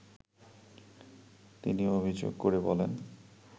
তিনি অভিযোগ করে বলেন